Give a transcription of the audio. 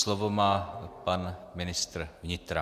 Slovo má pan ministr vnitra.